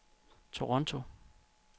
Toronto